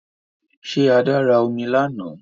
Ṣé Adé ra omi lánàá?